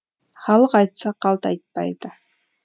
халық айтса қалт айтпайды